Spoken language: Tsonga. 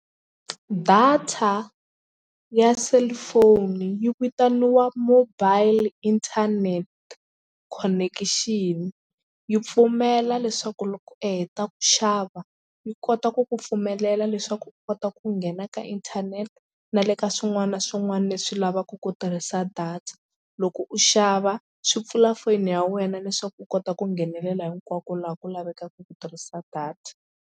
Data ya cellphone yi vitaniwa mobile internet connection yi pfumela leswaku loko u heta ku xava yi kota ku ku pfumelela leswaku u kota ku nghena ka inthanete na le ka swin'wana na swin'wana leswi lavaka ku tirhisa data. Loko u xava swi pfula foyini ya wena leswaku u kota ku nghenelela hinkwako laha ku lavekaka ku tirhisa data.